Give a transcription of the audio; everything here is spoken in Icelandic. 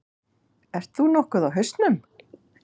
Ert þú nokkuð á hausnum?